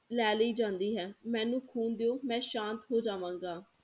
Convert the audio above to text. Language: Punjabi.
ਲੈ ਲਈ ਜਾਂਦੀ ਹੈ ਮੈਨੂੰ ਖੂਨ ਦਿਓ ਮੈਂ ਸ਼ਾਂਤ ਹੋ ਜਾਵਾਂਗਾ।